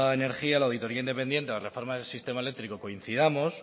energía la auditoría independiente o la reforma del sistema eléctrico coincidamos